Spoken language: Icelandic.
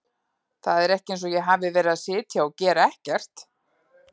Það er ekki eins og ég hafi verið að sitja og gera ekkert.